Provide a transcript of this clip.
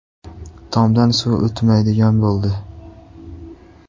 Tomdan suv o‘tmaydigan bo‘ldi.